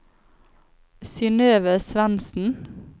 Synøve Svendsen